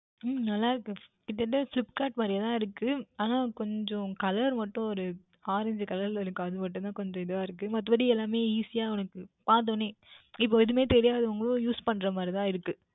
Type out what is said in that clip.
உம் நன்றாக இருக்கின்றது இது என்ன Flipkart மாதிரியே தான் இருக்கும் ஆனால் கொஞ்சம் Colour வந்து ஓர் Orange Colour யில் இருக்கின்றது அது மற்றும் தான் கொஞ்சம் இதுவாக இருக்கின்றது மற்றபடி எல்லாமுமே Easy உனக்கு பார்த்த உடனே இப்பொழுது எதுமே தெரியாதவர்களும் Use பன்னுகின்ற மாதிரி தான் இருக்கும்